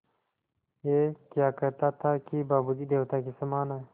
ऐं क्या कहता था कि बाबू जी देवता के समान हैं